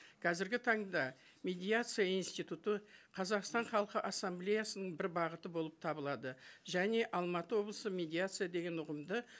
қазіргі таңда медиация институты қазақстан халқы ассамблеясының бір бағыты болып табылады және алматы облысы медиация деген ұғымды